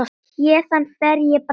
Héðan fer ég bráðum.